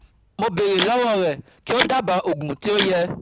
Mo béèrè lọ́wọ́ rẹ kí o dábàá òògùn tí ó yẹ